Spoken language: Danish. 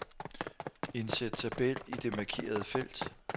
Indsæt tabel i det markerede felt.